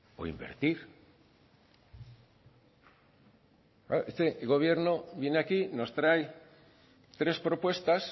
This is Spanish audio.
o invertir claro este gobierno viene aquí nos trae tres propuestas